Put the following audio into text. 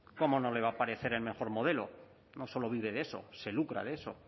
cómo no le va a parecer el mejor modelo no solo vive de eso se lucra de eso